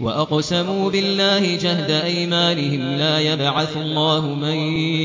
وَأَقْسَمُوا بِاللَّهِ جَهْدَ أَيْمَانِهِمْ ۙ لَا يَبْعَثُ اللَّهُ مَن